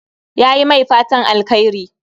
Yayi mai fatan alkhairi